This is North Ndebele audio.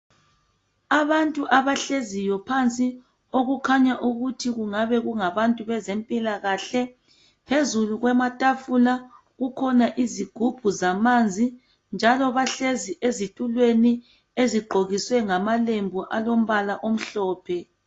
Abantu abahleziyo phansi okukhanya ukuthi kungabe kunga bantu beze mpilakahle. Phezulu kwamatafula kukhona izigubhu zamanzi. Njalo bahlezi ezitulweni ezigqokiswe ngamalembu alombala omhlophe.